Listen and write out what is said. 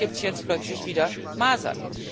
Dort gibt es jetzt plötzlich wieder Masern.